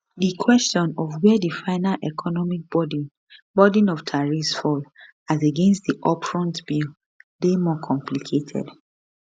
di question of wia di final economic burden burden of tariffs fall as against di upfront bill dey more complicated